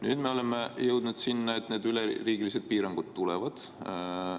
Nüüd me oleme jõudnud sinna, et need üleriigilised piirangud tulevad.